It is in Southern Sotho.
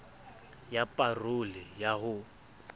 ya pa role ya ho